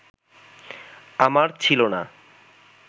আমার ছিল না